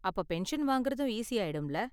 அப்ப பென்ஷன் வாங்கறதும் ஈசி ஆயிடும்ல?